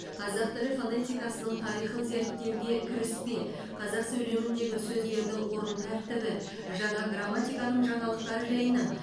қазақ тілі фонетикасының тарихын зерттеуге кіріспе қазақ сөйлеміндегі сөздердің орын тәртібі жаңа грамматиканың жаңалықтары жайынан